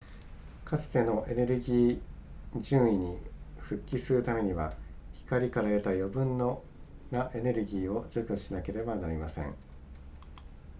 かつてのエネルギー準位に復帰するためには光から得た余分なエネルギーを除去しなければなりません